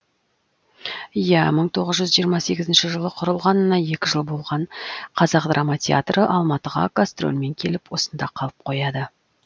иә мың тоғыз жүз жиырма сегізінші жылы құрылғанына екі жыл болған қазақ драма театры алматыға гастрольмен келіп осында қалып қояды